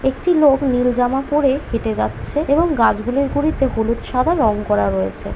একটি লোক নীল জামা পড়ে হেঁটে যাচ্ছে এবং গাছগুলির গুড়িতে হলুদ সাদা রং করা রয়েছে ।